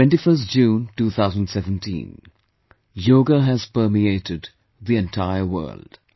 21st June 2017 Yoga has permeated the entire world